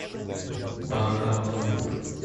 бахавалпур